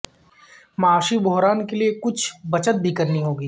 معاشی بحران کے لئے کچھ بچت بھی کرنی ہوگی